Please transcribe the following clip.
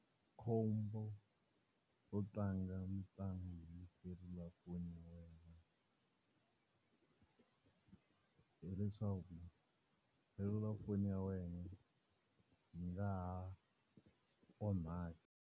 Khombo ro tlanga mitlangu hi selulafoni ya wena hileswaku selulafoni ya wena yi nga ha onhaka.